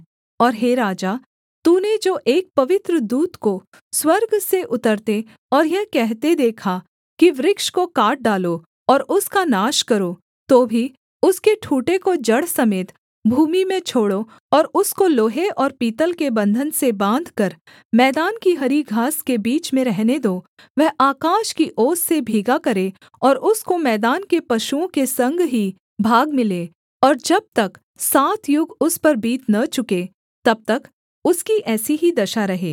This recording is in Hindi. और हे राजा तूने जो एक पवित्र दूत को स्वर्ग से उतरते और यह कहते देखा कि वृक्ष को काट डालो और उसका नाश करो तो भी उसके ठूँठे को जड़ समेत भूमि में छोड़ो और उसको लोहे और पीतल के बन्धन से बाँधकर मैदान की हरी घास के बीच में रहने दो वह आकाश की ओस से भीगा करे और उसको मैदान के पशुओं के संग ही भाग मिले और जब तक सात युग उस पर बीत न चुकें तब तक उसकी ऐसी ही दशा रहे